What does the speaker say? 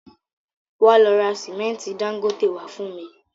Wá lọ ra símẹ́ntì Dangote wá fún mi